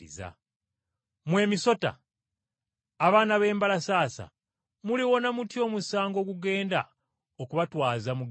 “Mmwe emisota! Abaana b’embalasaasa muliwona mutya omusango ogugenda okubatwaza mu ggeyeena?